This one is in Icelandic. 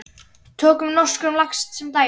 Tökum norskan lax sem dæmi.